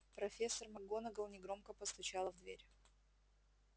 профессор макгонагалл негромко постучала в дверь